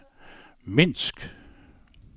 Minsk